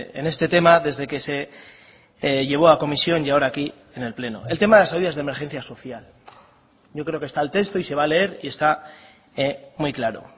en este tema desde que se llevó a comisión y ahora aquí en el pleno el tema de las ayudas de emergencia social yo creo que está el texto y se va a leer y está muy claro